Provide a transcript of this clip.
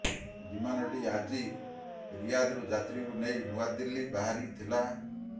ବିମାନଟି ଆଜି ରିୟାଦରୁ ଯାତ୍ରୀଙ୍କୁ ନେଇ ନୂଆଦିଲ୍ଲୀ ବାହାରି ଥିଲା